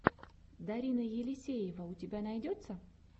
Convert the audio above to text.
дарина елисеева у тебя найдется